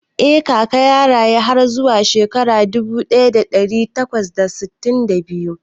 Eh Kaka ya rayu har zuwa shekara dubu ɗaya da ɗari takwas da sittin da biyu